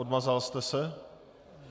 Odmazal jste se?